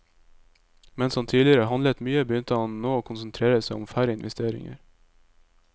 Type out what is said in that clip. Mens han tidligere handlet mye, begynte han nå å konsentrere seg om færre investeringer.